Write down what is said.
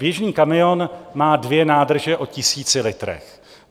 Běžný kamion má dvě nádrže o tisíci litrech.